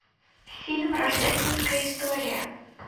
фильм рождественская история